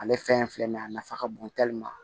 Ale fɛn in filɛ nin ye a nafa ka bon